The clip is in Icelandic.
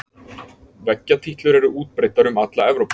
Veggjatítlur er útbreiddar um alla Evrópu.